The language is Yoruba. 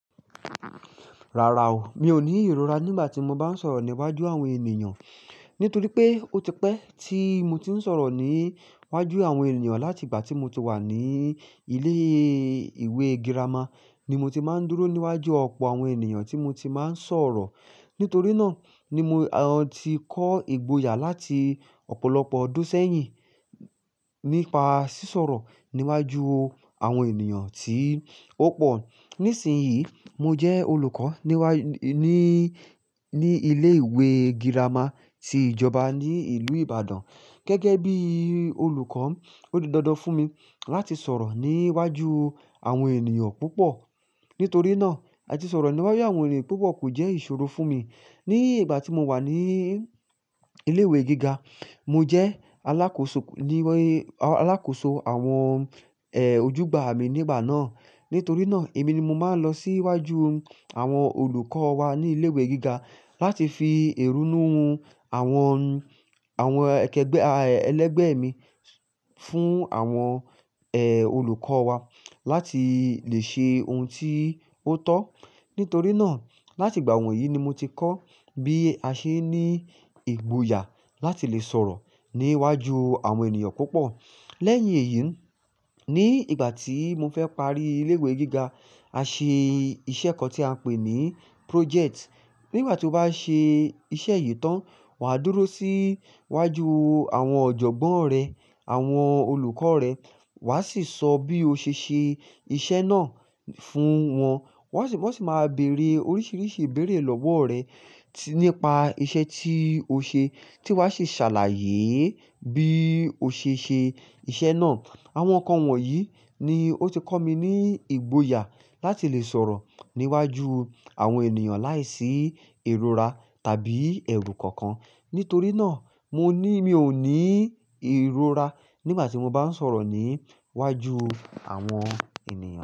Rárá o, mi ò ní ìrora nígbà tí mo bá ń sọ̀rọ̀ níwájú àwọn ènìyàn, nítorí pé ó ti pẹ́ tí mo ti ń sọ̀rọ̀ níwájú àwọn ènìyàn láti ìgbà tí mo ti wà ní ilé ìwé girama, ni mo ti máa ń dúró níwájú ọ̀pọ̀ àwọn ènìyàn tí mo ti máa ń sọ̀rọ̀. Nítorí náà ni mo, ti kọ́ ìgboyà láti ọ̀pọ̀lọpọ̀ ọdún sẹ́yìn nípa sísọ̀rọ̀ níwájú àwọn ènìyàn tí ó pọ̀. Nísìnyí, mo jẹ́ olùkọ́ ní wá, ní, ní ilé ìwé girama ti ìjọba ní ìlú Ìbàdàn. Gẹ́gẹ́ bí olùkọ́, ó di dandan fún mi láti sọ̀rọ̀ níwájú àwọn ènìyàn púpọ̀. Nítorí náà, láti sọ̀rọ̀ níwájú àwọn ènìyàn púpọ̀ kò jẹ́ ìṣòro fún mi. Ni ìgbà tí mo wà ní ilé ìwé gíga, mo jẹ́ alákóso ní, alákóso àwọn, ojúgbà mi nígbà náà. Nítorí náà, èmi ni mo máa ń lọ sí iwájú àwọn olùkọ́ wa ní ilé ìwé gíga láti fi ìrunú àwọn, àwọn kẹgbẹ́, ẹlẹ́gbẹ́ mi fún àwọn, olùkọ́ wa láti lè ṣe ohun tí ó tọ́. Nítorí náà, láti ìgbà wọ̀nyí ni mo ti kọ́ bí a ṣe ní ìgboyà láti lè sọ̀rọ̀ níwájú àwọn ènìyàn púpọ̀. Lẹ́yìn èyí, ní ìgbà tí mo fẹ́ parí ilé ìwé gíga, a ṣe iṣẹ́ kan tí a ń pè ní project. Nígbà tí o bá ṣe iṣẹ́ yìí tán, wà á dúró sí iwájú àwọn ọ̀jọ̀gbọ́n rẹ, àwọn olùkọ́ rẹ, wà á sì sọ bí o ṣe ṣe iṣẹ́ náà fún wọn. Wọ́n sì, wọ́n sì máa bèèrè oríṣiríṣi ìbéèrè lọ́wọ́ rẹ nípa iṣẹ́ tí o ṣe, tí wà á sì ṣàlàyé bí o ṣe ṣe iṣẹ́ náà. Àwọn ǹkan wọ̀nyí ni ó ti kọ́ mi ní ìgboyà láti lè sọ̀rọ̀ níwájú àwọn ènìyàn láìsí ìrora tàbí ẹ̀rù kankan. Nítorí náà, mo ní, mi ò ní ìrora nígbà tí mo bá ń sọ̀rọ̀ níwájú àwọn ènìyàn.